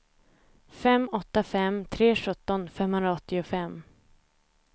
fem åtta fem tre sjutton femhundraåttiofem